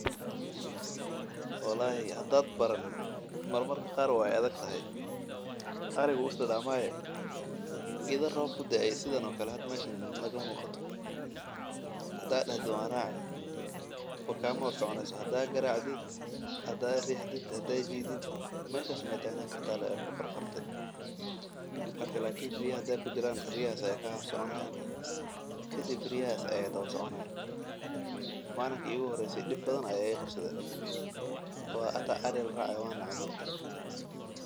Hadaad baranin marmar qaar waay adag tahay, idha roob ku dae makaa hor soconeyso lakin riya hadaay kujiraan riyaha ayaa soconayaan kadib waay soo kacayaan, malinta igu horeyse dib badan ayaa iga qabsade ilaa aan nacay marki danbe.